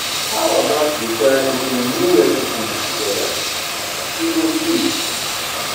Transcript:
How about we try cooking new recipes together? E go sweet.